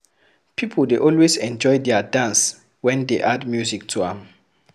Pipo dey always enjoy their dance when dey add music to am